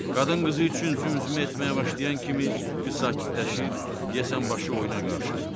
Qadın qızı üçün zümzümə etməyə başlayan kimi qız sakitləşir, deyəsən başı oyuna qarışırdı.